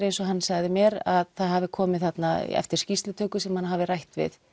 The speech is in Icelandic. eins og hann sagði mér hafi komið þarna eftir skýrslutöku sem hann hafði rætt við